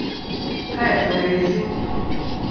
Kaj je torej izziv?